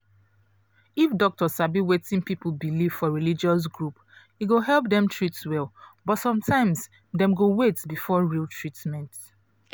if doctor sabi wetin people believe for religious group e go help dem treat well but sometimes dem go wait before real treatment